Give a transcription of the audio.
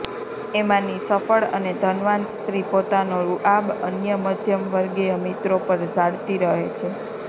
એમાંની સફ્ળ અને ધનવાન સ્ત્રી પોતાનો રૂઆબ અન્ય મધ્યમવર્ગીય મિત્રો પર ઝાડતી રહે છે